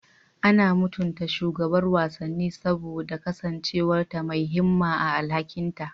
Ana mutunta shugabar wasanni saboda kasancewa mai himma a alhakinta.